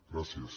gràcies